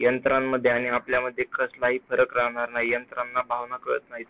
यंत्रामध्ये आणि आपल्यामध्ये काहीच फरक राहणार नाही, यंत्रांना भावना कळत नाहीत.